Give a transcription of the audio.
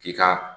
K'i ka